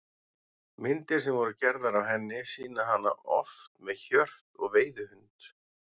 Myndir sem voru gerðar af henni sýna hana oft með hjört og veiðihund.